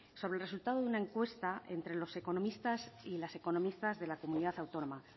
sobre el resultado de una encuesta entre los economistas y las economistas de la comunidad autónoma